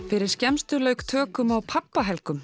fyrir skemmstu lauk tökum á